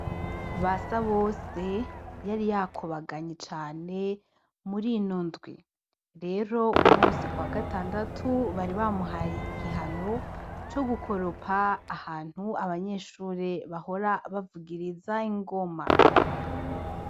BASABOSE yari yakubaganye cane mur'ino ndwi rero une munsi kuwagatandatu bari bamuhaye igihano cogukoropa ahantu abanyeshure bahora bavugiriza ingoma